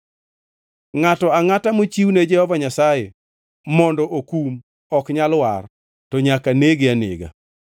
“ ‘Ngʼato angʼata mochiwne Jehova Nyasaye mondo okum ok nyal war, to nyaka nege anega.